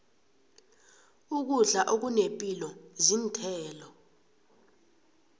ukudla okunepilo zinthelo